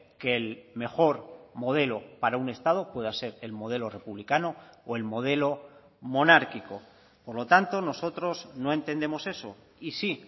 que el mejor modelo para un estado pueda ser el modelo republicano o el modelo monárquico por lo tanto nosotros no entendemos eso y sí